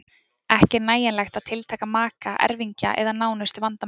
Ekki er nægjanlegt að tiltaka maka, erfingja eða nánustu vandamenn.